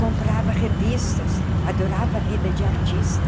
Comprava revistas, adorava a vida de artista.